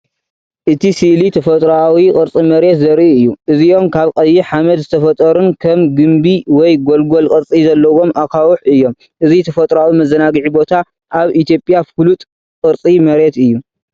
እቲ ስእሊ ተፈጥሮኣዊ ቅርጺ መሬት ዘርኢ እዩ። እዚኦም ካብ ቀይሕ ሓመድ ዝተፈጥሩን ከም ግምቢ ወይ ጎልጎል ቅርጺ ዘለዎም ኣኻውሕ እዮም። እዚ ተፈጥሮኣዊ መዘናግዒ ቦታ ኣብ ኢትዮጵያ ፍሉጥ ቅርጺ መሬት እዩ።